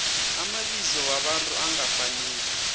amabizo wabantu angafaniko